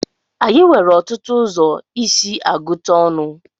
Anyị nwere ọtụtụ ụzọ isi agụta ọnụ.